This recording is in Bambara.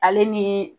Ale ni